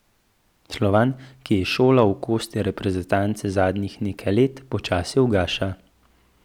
Slovan, ki je izšolal okostje reprezentance zadnjih nekaj let, počasi ugaša.